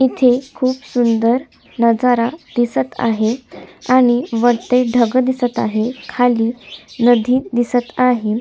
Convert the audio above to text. इथे खूप सुंदर नजरा दिसत आहे आणि वरती ढग दिसत आहे आणि वरती ढग दिसत आहे खाली नदी दिसत आहे.